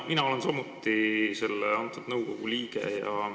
Mina olen samuti selle nõukogu liige.